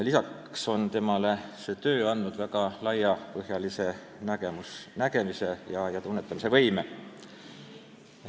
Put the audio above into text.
Lisaks on see töö andnud talle väga laiapõhjalise nägemise ja tunnetamise võime.